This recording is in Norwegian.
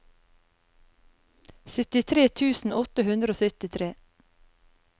syttitre tusen åtte hundre og syttitre